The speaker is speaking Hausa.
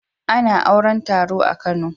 A na auran taro a kano